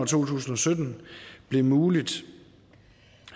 to tusind og sytten blev muligt